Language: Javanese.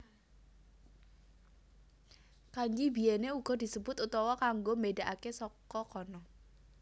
Kanji biyèné uga disebut utawa kanggo mbédakaké saka kana